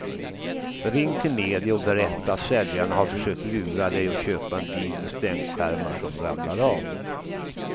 Ring till media och berätta att säljaren har försökt lura dig att köpa en bil med stänkskärmar som ramlar av.